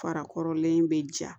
Fara kɔrɔlen bɛ ja